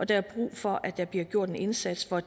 der er brug for at der bliver gjort en indsats for at